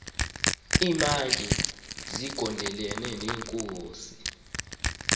iimantyi zigondelene neenkosi